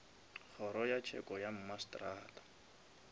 kgoro ya tsheko ya mmasetrata